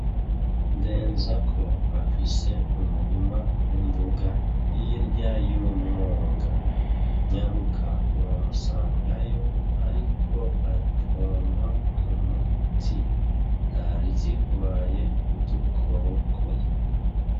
Ndenzako afise umurima w'imboga hirya y'umwonga. Nyaruka uramusangayo ariko apompa umuti zari zirwaye udukoko.